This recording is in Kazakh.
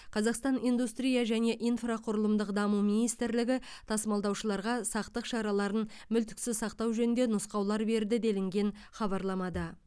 қазақстан индустрия және инфрақұрылымдық даму министрлігі тасымалдаушыларға сақтық шараларын мүлтіксіз сақтау жөнінде нұсқаулар берді делінген хабарламада